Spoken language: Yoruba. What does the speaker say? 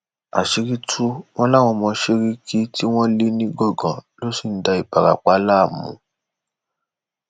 àṣírí tù wọn láwọn ọmọ sẹríkì tí wọn lé nìgangan ni wọn sì ń da ìbarapá láàmú